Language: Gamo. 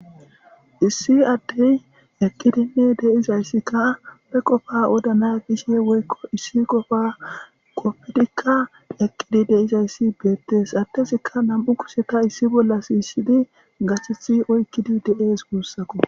issi addey eqqidinne deizayssikka pe qofa odana gishe woykko issi qofa qoppidikka eqqidi deizayssi beettees attesikka nam7u kusheta issi bolla siyisshidi gathethi oykkidi de7ees guussako